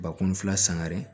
Bakun fila sangare